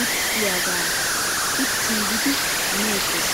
irxxiyaagaa uttiigidi meettes.